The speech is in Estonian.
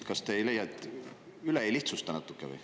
Kas te ei leia, et te natuke lihtsustate üle?